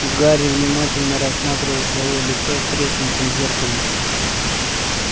гарри внимательно рассматривал своё лицо в треснутом зеркале